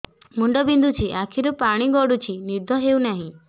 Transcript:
ମୁଣ୍ଡ ବିନ୍ଧୁଛି ଆଖିରୁ ପାଣି ଗଡୁଛି ନିଦ ହେଉନାହିଁ